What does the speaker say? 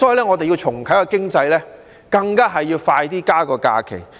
我們要重啟經濟，更要加快增加假期。